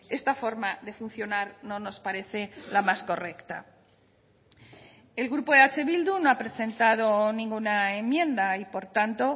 esta forma de funcionar no nos parece la más correcta el grupo eh bildu no ha presentado ninguna enmienda y por tanto